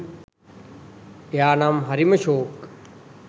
එයා නම් හරිම ෂෝක්